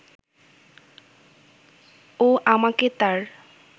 ও আমাকে তার